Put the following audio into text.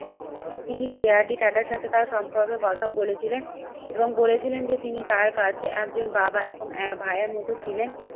তিনি যে R D টাটার সাথে তার সম্পর্কের কথা বলেছিলে এবং বলেছিলেন যে তিনি তার কাছে একজন বাবা এবং ভাইয়ের মতো ছিলেন।